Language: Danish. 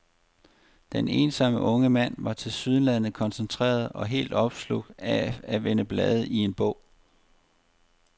Den ensomme unge mand var tilsyneladende koncentreret og helt opslugt af at vende blade i en bog.